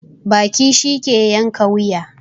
Baki shi ke yanka wuya